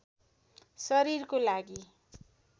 शरीरको लागि